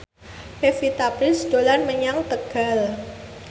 Pevita Pearce dolan menyang Tegal